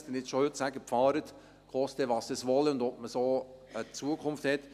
damit Sie nicht schon heute sagen: «Fahren Sie, koste es, was es wolle» … und ob man so eine Zukunft hat.